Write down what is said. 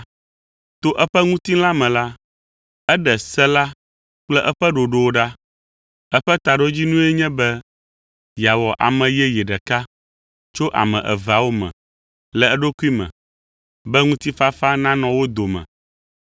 To eƒe ŋutilã me la, eɖe se la kple eƒe ɖoɖowo ɖa. Eƒe taɖodzinue nye be yeawɔ ame yeye ɖeka tso ame eveawo me le eɖokui me, be ŋutifafa nanɔ wo dome,